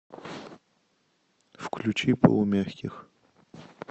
включи полумягких